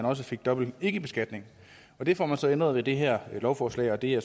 også fik dobbelt ikkebeskatning det får man så ændret med det her lovforslag og det er